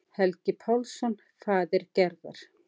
Helgi Pálsson, faðir Gerðar.